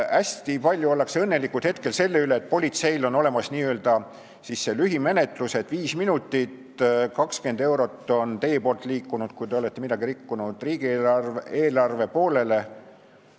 Praegu ollakse hästi õnnelikud selle üle, et politseil on olemas n-ö lühimenetlused: 5 minutit ja 20 eurot on teie käest liikunud, kui te olete seadust rikkunud, riigieelarve poolele.